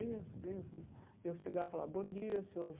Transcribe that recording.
Bença bença né e Eu chegava lá e falava, bom dia, Senhor.